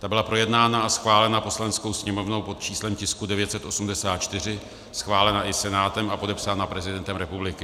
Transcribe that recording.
Ta byla projednána a schválena Poslaneckou sněmovnou pod číslem tisku 984, schválena i Senátem a podepsána prezidentem republiky.